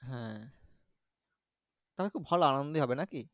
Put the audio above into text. হ্যাঁ তোমার খুব ভালো আনন্দ নাকি